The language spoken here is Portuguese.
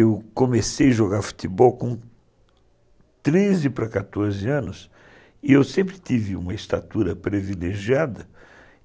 Eu comecei a jogar futebol com treze para quatorze anos e eu sempre tive uma estatura privilegiada